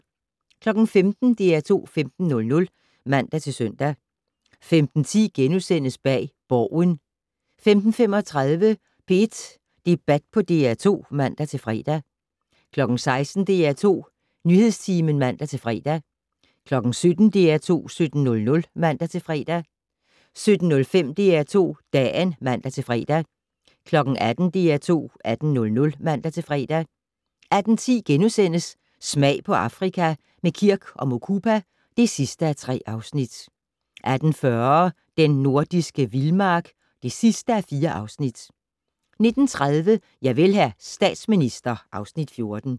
15:00: DR2 15:00 (man-søn) 15:10: Bag Borgen * 15:35: P1 Debat på DR2 (man-fre) 16:00: DR2 Nyhedstimen (man-fre) 17:00: DR2 17:00 (man-fre) 17:05: DR2 Dagen (man-fre) 18:00: DR2 18:00 (man-fre) 18:10: Smag på Afrika - med Kirk & Mukupa (3:3)* 18:40: Den nordiske vildmark (4:4) 19:30: Javel, hr. statsminister (Afs. 14)